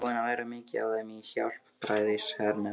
Hann er búinn að vera mikið hjá þeim í Hjálpræðishernum.